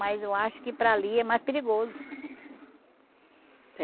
Mas eu acho que para ali é mais perigoso.